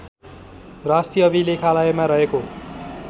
राष्ट्रिय अभिलेखालयमा रहेको